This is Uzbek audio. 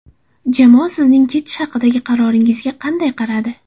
Jamoa sizning ketish haqidagi qaroringizga qanday qaradi?